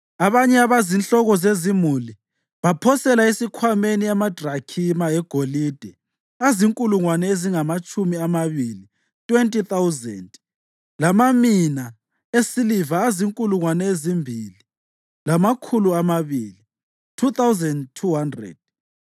Abanye abazinhloko zezimuli baphosela esikhwameni amadrakhima egolide azinkulungwane ezingamatshumi amabili (20,000) lamamina esiliva azinkulungwane ezimbili lamakhulu amabili (2,200).